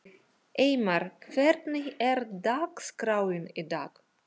Eymar, hvernig er dagskráin í dag?